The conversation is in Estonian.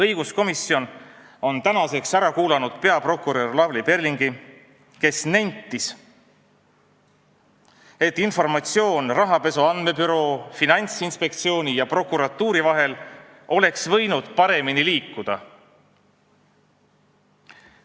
Õiguskomisjon on tänaseks ära kuulanud riigi peaprokuröri Lavly Perlingi, kes nentis, et informatsioon oleks rahapesu andmebüroo, Finantsinspektsiooni ja prokuratuuri vahel võinud paremini liikuda.